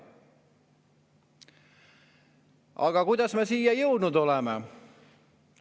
Aga kuidas me siia jõudnud oleme?